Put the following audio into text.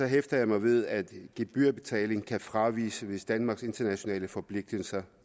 hæfter mig ved at gebyrbetaling kan fraviges hvis danmarks internationale forpligtelser